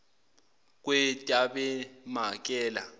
kwetabemakele